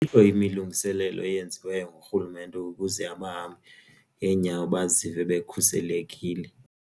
Ayikho imilungiselelo eyenziweyo ngurhulumente ukuze abahambi ngenyawo bazive bekhuselekile.